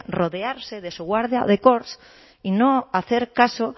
rodearse de su guardia de corps y no hacer caso